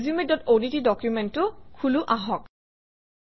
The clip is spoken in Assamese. resumeঅডট ডকুমেণ্টটো খোলো আহক